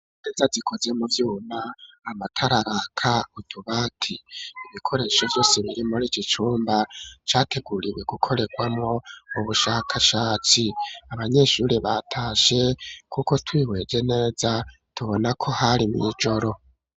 imeza zikoze mu vyuma amatara araka utubati ibikoresho vyose biri muri iki cumba categuriwe gukorerwamwo ubushakashatsi, abanyeshuri batashe kuko twihweje neza, tubona ko hari mw,ijoro.